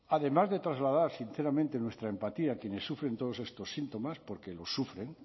además de trasladar sinceramente nuestra empatía a quienes sufren todos estos síntomas porque lo sufren